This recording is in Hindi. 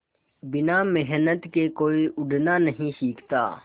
बिना मेहनत के कोई उड़ना नहीं सीखता